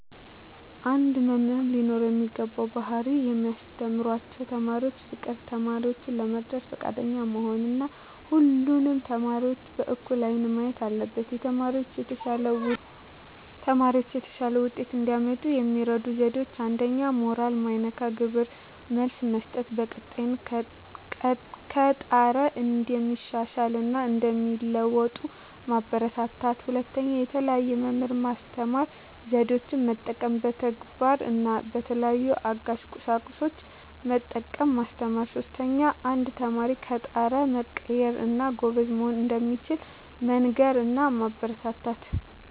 አንድ መምህር ሊኖረው የሚገባው ባህሪ ለሚያስተምራቸው ተማሪዎች ፍቅር፣ ተማሪዎችን ለመርዳት ፈቃደኛ መሆን እና ሁሉንም ተማሪዎች በእኩል አይን ማየት አለበት። ተማሪዎች የተሻለ ውጤት እንዲያመጡ የሚረዱ ዜዴዎች 1ኛ. ሞራል ማይነካ ግብረ መልስ መስጠት፣ በቀጣይ ከጣረ እንደሚሻሻል እና እንደሚለዎጡ ማበራታታት። 2ኛ. የተለየ የመማር ማስተማር ዜዴን መጠቀም፣ በተግባር እና በተለያዩ አጋዥ ቁሳቁሶችን በመጠቀም ማስተማር። 3ኛ. አንድ ተማሪ ከጣረ መቀየር እና ጎበዝ መሆን እንደሚችል መንገር እና ማበረታታት።